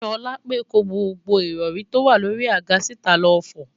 Ṣọlápe kó gbogbo ìrọ̀rí tó wà lórí i àga síta lọ fọ̀